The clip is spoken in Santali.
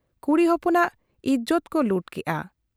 ᱠᱩᱲᱤ ᱦᱚᱯᱚᱱᱟᱜ ᱤᱡᱚᱛ ᱠᱚ ᱞᱩᱴ ᱠᱮᱜ ᱟ ᱾